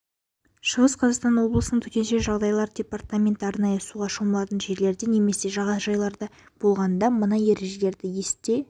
шығыс қазақстан облысының төтенше жағдайлар департаменті арнайы суға шомылатын жерлерде немесе жағажайларда болғанда мына ережелерді есте